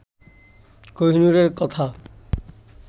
কোহিনূরের কথা